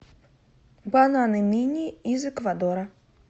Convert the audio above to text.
бананы мини из эквадора